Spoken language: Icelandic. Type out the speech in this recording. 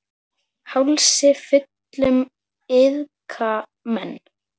Hálsi fullum iðka menn.